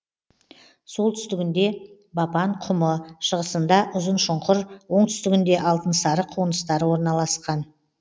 солтүстігінде бапан құмы шығысында ұзыншұңкыр оңтүстігінде алтынсары қоныстары орналасқан